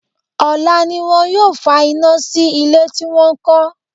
Ọ̀la ni wọn yóò fa iná sí ilé tí wọ́n kọ́.